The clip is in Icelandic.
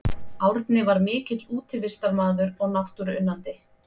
Árni var mikill útivistarmaður og náttúruunnandi.